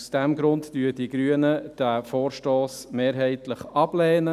Aus diesem Grund lehnen die Grünen diesen Vorstoss mehrheitlich ab.